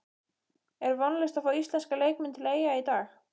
Er vonlaust að fá íslenska leikmenn til Eyja í dag?